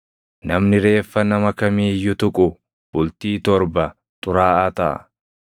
“Namni reeffa nama kamii iyyuu tuqu bultii torba xuraaʼaa taʼa.